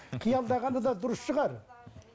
қиялдағаны да дұрыс шығар